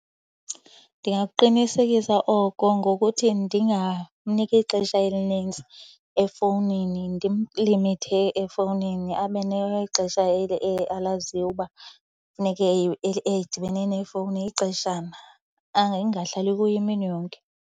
Ndingaqinisekisa oko ngokuthi ndingamniki ixesha elinintsi efowunini. Ndimlimithe efowunini abe nexesha alaziyo uba funeke edibene nefowuni ixeshana, angahlali kuyo imini yonke.